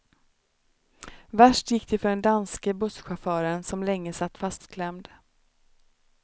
Värst gick det för den danske busschauffören, som länge satt fastklämd.